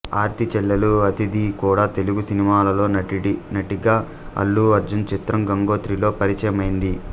ఆర్తీ చెల్లెలు అదితి కూడా తెలుగు సినిమాలలో నటిగా అల్లు అర్జున్ చిత్రం గంగోత్రితో పరిచయమైంది